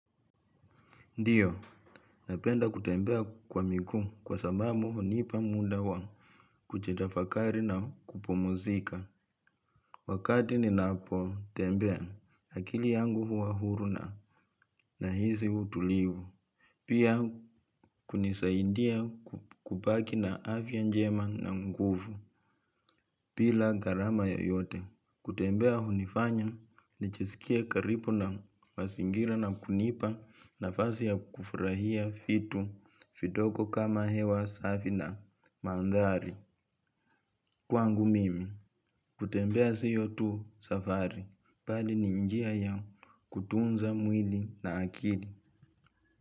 Ndiyo, napenda kutembea kwa miguu kwa sababu hunipa muda wa kujitafakari na kupumzika. Wakati ninapo tembea akili yangu huwa huru na nahisi utulivu. Pia kunisaidia kubaki na afya njema na nguvu bila gharama yoyote. Kutembea hunifanya nijisikie karibu na mazingira na kunipa nafasi ya kufurahia vitu vidogo kama hewa safi na mandhari. Kwangu mimi, kutembea sio tu safari, bali ni njia ya kutunza mwili na akili.